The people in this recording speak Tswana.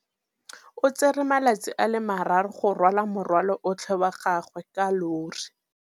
O tsere malatsi a le marraro go rwala morwalo otlhe wa gagwe ka llori.